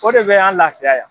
O de bɛ an laafiya yan.